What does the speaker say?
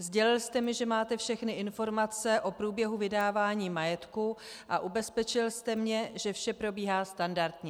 Sdělil jste mi, že máte všechny informace o průběhu vydávání majetku, a ubezpečil jste mě, že vše probíhá standardně.